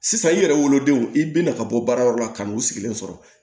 Sisan i yɛrɛ wolodenw i bɛna ka bɔ baarayɔrɔ la ka n'u sigilen sɔrɔ